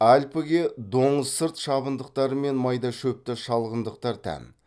альпіге доңызсырт шабындықтары мен майда шөпті шалғындықтар тән